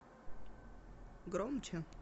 громче